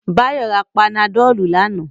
Báyọ̀ ra panadọ̀lù lánàá